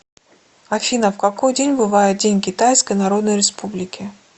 афина в какой день бывает день китайской народной республики